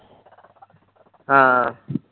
ਹਾਂ